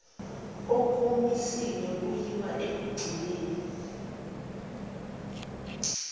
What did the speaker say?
kokumisiwe kuyiwa ekugcinweni